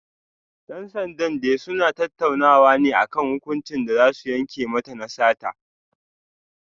Dan sandan dai suna tattaunawa ne kan hukuncin da za su yanke mata na sata